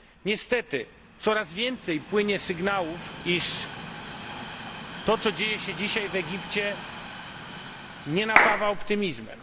Niestety, coraz więcej płynie sygnałów, iż to, co dzieje się dzisiaj w Egipcie, nie napawa optymizmem.